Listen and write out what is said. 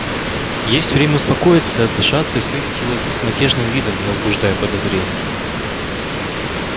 есть время успокоиться отдышаться и встретить его с безмятежным видом не возбуждая подозрений